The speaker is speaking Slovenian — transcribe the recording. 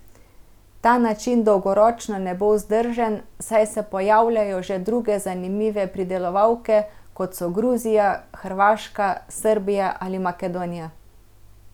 Ta način dolgoročno ne bo vzdržen, saj se pojavljajo že druge zanimive pridelovalke, kot so Gruzija, Hrvaška, Srbija ali Makedonija.